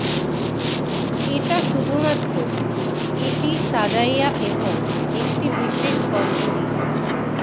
এটা শুধুমাত্র এটি সাজাইয়া এবং একটি বিশেষ গন্ধ দিতে